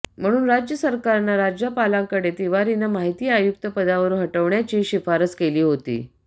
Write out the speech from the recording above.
म्हणून राज्य सरकारनं राज्यपालांकडे तिवारींना माहिती आयुक्त पदावरून हटवण्याची शिफारस केली होती